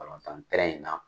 Balɔntan in na